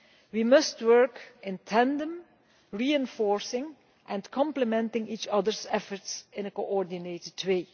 We must work in tandem, reinforcing and complementing each other's efforts in a coordinated way.